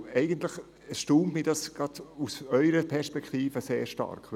Diese Haltung erstaunt mich gerade aus Ihrer Perspektive sehr stark.